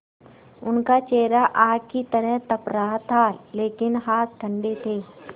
उनका चेहरा आग की तरह तप रहा था लेकिन हाथ ठंडे थे